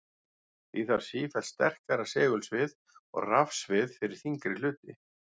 Því þarf sífellt sterkara segulsvið og rafsvið fyrir þyngri hluti.